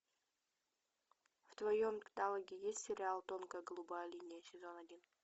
в твоем каталоге есть сериал тонкая голубая линия сезон один